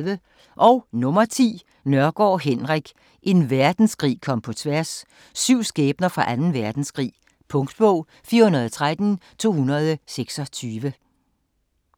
Nørgaard, Henrik: En verdenskrig kom på tværs: syv skæbner fra Anden Verdenskrig Punktbog 413226